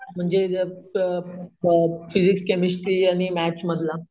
म्हणजे अम अम फिज़िक्स, केमिस्टरी आणि मॅथ्स मधला?